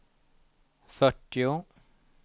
fyrtio